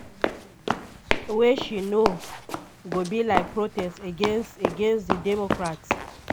wey she know go be like protest against against di democrats.